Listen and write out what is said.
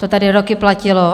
To tady roky platilo.